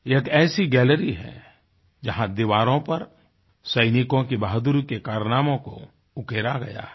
यह एक ऐसी गैलरी है जहाँ दीवारों पर सैनिकों की बहादुरी के कारनामों को उकेरा गया है